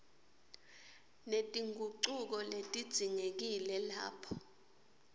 netingucuko letidzingekile lapho